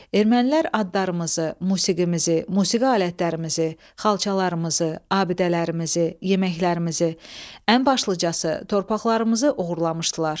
Ermənilər adlarımızı, musiqimizi, musiqi alətlərimizi, xalçalarımızı, abidələrimizi, yeməklərimizi, ən başlıcası, torpaqlarımızı oğurlamışdılar.